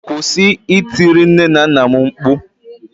kwụsị itiri nne na nna'm mkpu